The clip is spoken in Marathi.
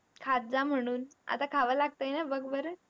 खात जा म्हणून. आता खावं लागतंय ना बघ बरं.